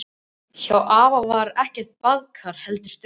Hjá afa var ekkert baðkar, heldur sturta.